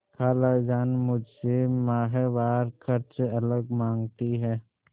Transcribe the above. खालाजान मुझसे माहवार खर्च अलग माँगती हैं